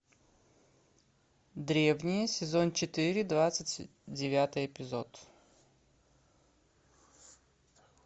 древние сезон четыре двадцать девятый эпизод